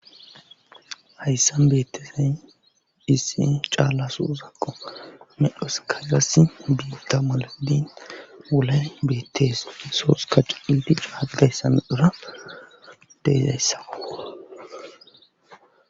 hayssa beettesen dhissin caallasu uzakqo medhos kayas duuta maladin wolay beettees isoos ka c ildi caadayssami dhura deesayssakoa